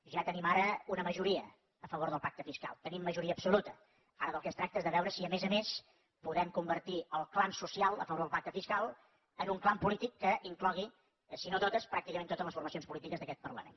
ja tenim ara una majoria a favor del pacte fiscal tenim majoria absoluta ara del que es tracta és de veure si a més a més podem convertir el clam social a favor del pacte fiscal en un clam polític que inclogui si no totes pràcticament totes les formacions polítiques d’aquest parlament